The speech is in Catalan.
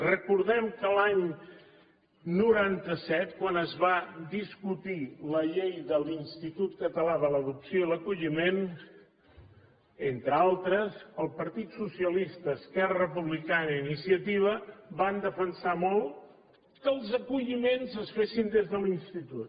recordem que l’any noranta set quan es va discutir la llei de l’institut català de l’adopció i l’acolliment entre altres el partit socialista esquerra republicana i iniciativa van defensar molt que els acolliments es fessin des de l’institut